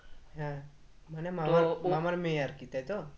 হ্যাঁ মানে মামার মামার মেয়ে আরকি তাই তো?